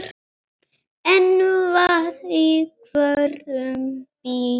Einn var í hvorum bíl.